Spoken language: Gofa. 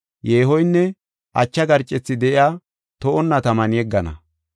yeehoynne acha garcethi de7iya to7onna taman yeggana.